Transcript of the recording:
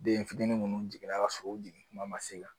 Den fitinin minnu jiginna ka sɔrɔ u jigin kuma ma se ka